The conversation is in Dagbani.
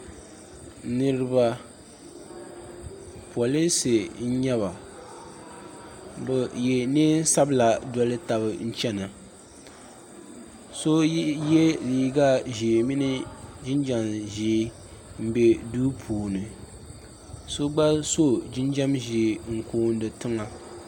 Niriba polinsi n nyɛ ba bɛ ye niɛn'sabla n doli taba n chena so ye liiga ʒee mini jinjiɛm ʒee m be duu puuni so gba so jinjiɛm ʒee n kooni tiŋa.